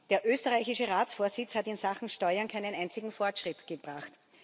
Der österreichische Ratsvorsitz hat in Sachen Steuern keinen einzigen Fortschritt gebracht.